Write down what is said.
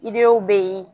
Idenw be yi